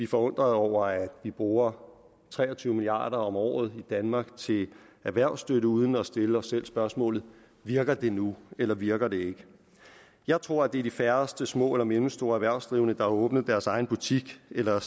forundret over at vi bruger tre og tyve milliard kroner om året i danmark til erhvervsstøtte uden at stille os selv spørgsmålet virker det nu eller virker det ikke jeg tror det er de færreste små eller mellemstore erhvervsdrivende der har åbnet deres egen butik eller